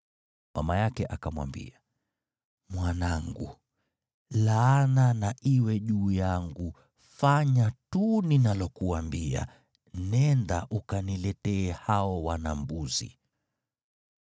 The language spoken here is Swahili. Mama yake akamwambia, “Mwanangu, laana na iwe juu yangu. Fanya tu ninalokuambia, nenda ukaniletee hao wana-mbuzi.”